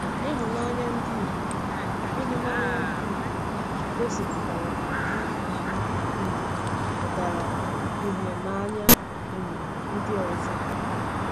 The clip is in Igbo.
Ịhụnanya ndị Igbo Ịhụnanya ndị Igbo gosipụtara ahụ ahụ um pụtara ìhè n’anya um ndị ọzọ.